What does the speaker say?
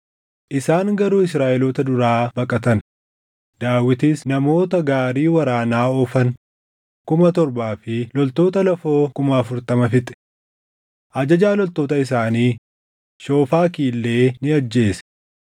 Isaan garuu Israaʼeloota duraa baqatan; Daawitis namoota gaarii waraanaa oofan kuma torbaa fi loltoota lafoo kuma afurtama fixe. Ajajaa loltoota isaanii Shoofaki illee ni ajjeese.